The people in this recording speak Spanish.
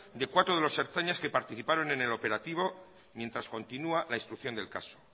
de cuatro de los ertzainas que participaron en el operativo mientras continúa la instrucción del caso